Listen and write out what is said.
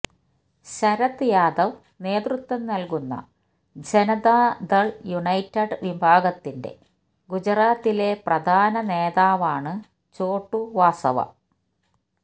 ശരദ് യാദവ് നേതൃത്വം നല്കുന്ന ജനതാദള് യുണൈറ്റഡ് വിഭാഗത്തിന്റെ ഗുജറാത്തിലെ പ്രധാന നേതാവാണ് ഛോട്ടു വാസവ